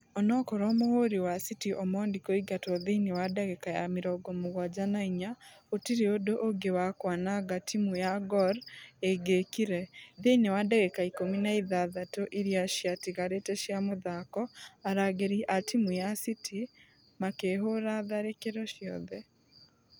Onokorwo mũhũri wa city omondi kũingatwo thĩinĩ wa dagĩka ya mĩrongo mũgwaja na inya gũtire ũndũ ũngĩ wa kwananga timũ ya gor ĩngĩkire. Thĩinĩ wa dagĩka ikũmi na ithathatu iria ciatigarĩte cia mũthako , arangĩri a timũ ya city makehũra tharĩkĩro ciothe.